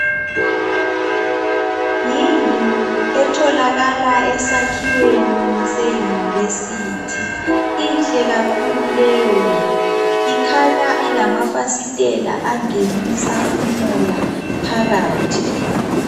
Yindlu etholakala esakhiweni seyunivesithi. Inhle kakhulu leyondlu, ikhanya ilamafasitela angenisa umoya phakathi.